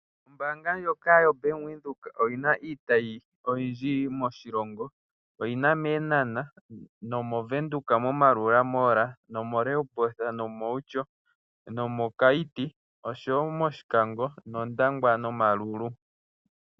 Ombaanga ndjoka yoBank Windhoek oyi na iitayi oyindji moshilongo. Oyi na mEenhana, mOvenduka moMaerua mall, moRehoboth, mOutjo, mOkaiti, mOshikango, mOndangwa nOmaruru.